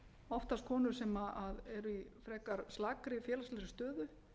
oftast konur sem eru í frekar slakri félagslegri stöðu